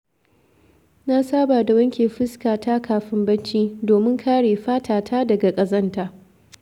Na saba da wanke fuskata kafin barci, domin kare fata ta daga ƙazanta.